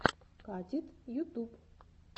катит ютуб